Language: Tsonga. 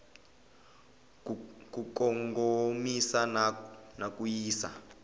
ku kongomisa na ku yisa